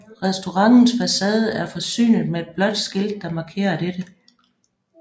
Restaurantens facade er forsynet med et blåt skilt der markerer dette